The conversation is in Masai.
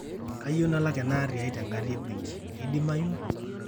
kayieu nalak ena aari aai te nkandi e benki, keidimayu